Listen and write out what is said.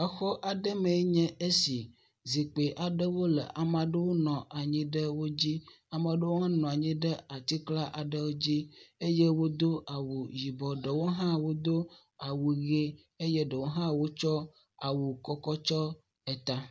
Xɔ aɖe me enye esi, zikpui le ame aɖewo nɔ anyi ɖe wo dzi, ame aɖewo hã nɔ anyi ɖe atikla aɖewo dzi eye wodo awu yibɔ , ɖewo hã wodo awu yibɔ, ɖewo hã wodo awu ʋe eye ɖewo hã wotsɔ awu kɔ kɔ tysɔ eta.